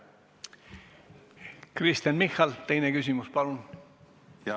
Kristen Michal, teine küsimus, palun!